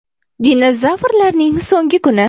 Dinozavrlarning so‘nggi kuni.